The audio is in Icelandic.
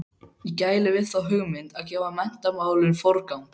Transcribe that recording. Ég gæli við þá hugmynd að gefa menntunarmálum forgang.